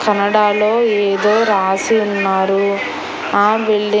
కన్నడాలో ఏదో రాసి ఉన్నారు ఆ బిల్డింగ్ .